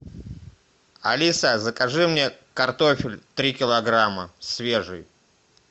алиса закажи мне картофель три килограмма свежий